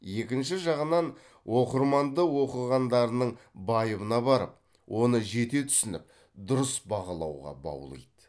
екінші жағынан оқырманды оқығандарының байыбына барып оны жете түсініп дұрыс бағалауға баулиды